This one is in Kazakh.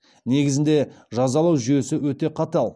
негізінде жазалау жүйесі өте қатал